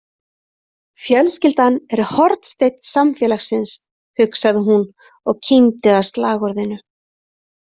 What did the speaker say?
Fjölskyldan er hornsteinn samfélagsins, hugsaði hún og kímdi að slagorðinu.